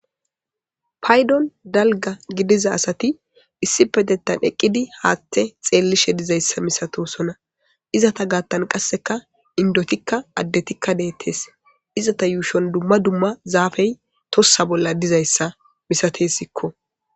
Paydon dalga gidiza asati issi petettan eqqidi haatthe xeellishe dizayssa misatosona izata gaattan qasseka indotikka addetikka deettes izata yuushon dumma dumma zaafey tossa bolla dizayssa misatesikko.